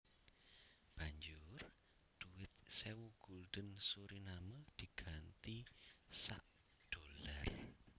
Banjur dhuwit sewu gulden Suriname diganti sak dollar